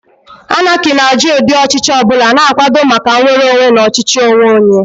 Anarchy na-ajụ ụdị ọchịchị ọ bụla, na-akwado maka nnwere onwe na ọchịchị onwe onye.